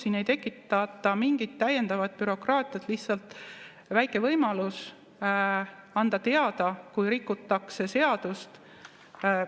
Siin ei tekitata mingit täiendavat bürokraatiat, lihtsalt väike võimalus anda teada, kui rikutakse seadust.